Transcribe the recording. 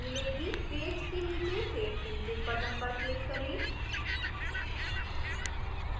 page के नीचे save changes button पर click करें